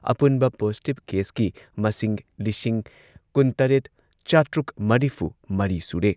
ꯑꯄꯨꯟꯕ ꯄꯣꯖꯤꯇꯤꯚ ꯀꯦꯁꯀꯤ ꯃꯁꯤꯡ ꯂꯤꯁꯤꯡ ꯀꯨꯟꯇꯔꯦꯠ ꯆꯥꯇ꯭ꯔꯨꯛ ꯃꯔꯤꯐꯨꯃꯔꯤ ꯁꯨꯔꯦ꯫